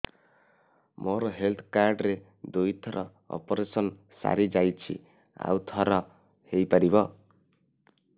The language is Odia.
ମୋର ହେଲ୍ଥ କାର୍ଡ ରେ ଦୁଇ ଥର ଅପେରସନ ସାରି ଯାଇଛି ଆଉ ଥର ହେଇପାରିବ